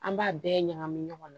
An b'a bɛɛ ɲagami ɲɔgɔn na